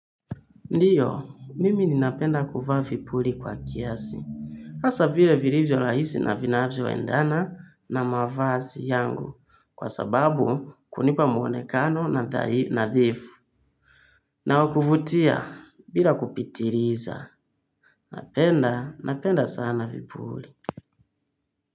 Ndiyo, mimi ninapenda kuvaa vipuli kwa kiasi. Hasa vile vilivyo rahisi na vinavyo endana na mavazi yangu kwa sababu kunipa mwonekano nadhifu. Na wakuvutia bila kupitiliza. Napenda, napenda sana vipuri.